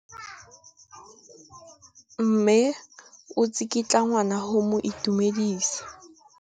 Mme o tsikitla ngwana go mo itumedisa.